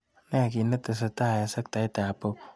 Ne netesetai eng sektaitap pop?